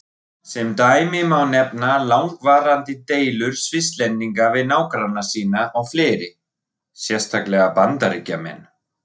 Sem dæmi má nefna langvarandi deilur Svisslendinga við nágranna sína og fleiri, sérstaklega Bandaríkjamenn.